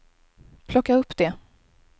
plocka upp det